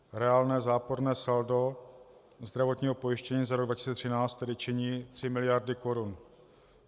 Reálné záporné saldo zdravotního pojištění za rok 2013 tedy činí 3 miliardy korun.